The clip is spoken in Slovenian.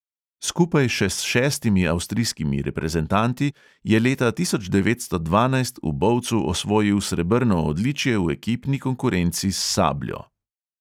Skupaj še s šestimi avstrijskimi reprezentanti je leta tisoč devetsto dvanajst v bovcu osvojil srebrno odličje v ekipni konkurenci s sabljo.